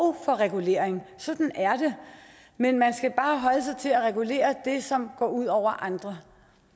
for regulering sådan er det men man skal bare holde sig til at regulere det som går ud over andre